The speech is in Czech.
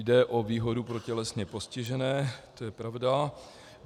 Jde o výhodu pro tělesně postižené, to je pravda.